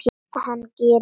Hann gerir ekkert.